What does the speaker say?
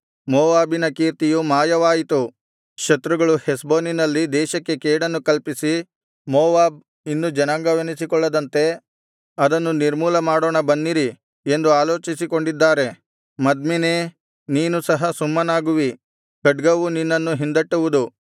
ಮೋವಾಬಿನ ಕೀರ್ತಿಯು ಮಾಯವಾಯಿತು ಶತ್ರುಗಳು ಹೆಷ್ಬೋನಿನಲ್ಲಿ ದೇಶಕ್ಕೆ ಕೇಡನ್ನು ಕಲ್ಪಿಸಿ ಮೋವಾಬ್ ಇನ್ನು ಜನಾಂಗವೆನಿಸಿಕೊಳ್ಳದಂತೆ ಅದನ್ನು ನಿರ್ಮೂಲಮಾಡೋಣ ಬನ್ನಿರಿ ಎಂದು ಆಲೋಚಿಸಿಕೊಂಡಿದ್ದಾರೆ ಮದ್ಮೆನೇ ನೀನು ಸಹ ಸುಮ್ಮನಾಗುವಿ ಖಡ್ಗವು ನಿನ್ನನ್ನು ಹಿಂದಟ್ಟುವುದು